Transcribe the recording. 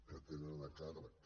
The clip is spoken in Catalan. que tenen a càrrec